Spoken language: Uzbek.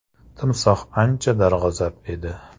“Timsoh ancha darg‘azab edi.